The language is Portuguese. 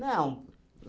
Não.